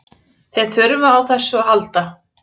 Þeir þurfa á þessu að halda.